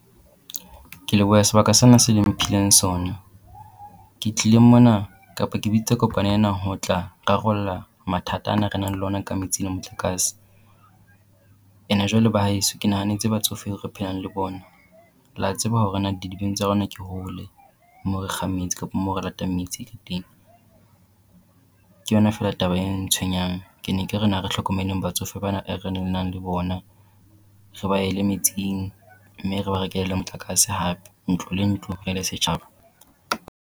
Ke lebohe sebaka sena se le mphileng sona. Ke tlile mona kapa ke bitsa kopano ena ho tla rarolla mathata ana a re nang le ona ka metsi le motlakase. And-e jwale ba haeso ke nahanetse batsofe re phelang le bona. La tseba hore na didibeng tsa rona ke hole moo re kgang metsi kapo moo re latang metsi teng. Ke yona feela taba e ntshwenyang. Ke ne ke re na re tlhokomeleng batsofe ba na e re nang le bona. Re ba e le metsing, mme re ba rekele le motlakase hape. Ntlo le ntlo re le setjhaba.